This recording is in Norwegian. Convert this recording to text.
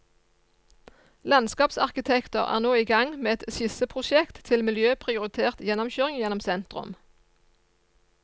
Landskapsarkitekter er nå i gang med et skisseprosjekt til miljøprioritert gjennomkjøring gjennom sentrum.